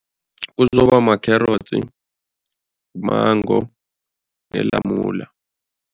Kuzoba makherotsi, mango nelamula.